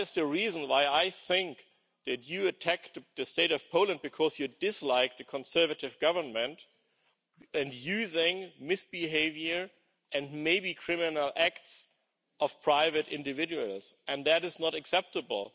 That is the reason why I think that you are attacking the State of Poland, because you dislike the conservative government, and use misbehaviour and maybe criminal acts of private individuals. And that is not acceptable.